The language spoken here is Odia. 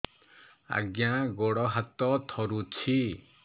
ଆଜ୍ଞା ଗୋଡ଼ ହାତ ଥରୁଛି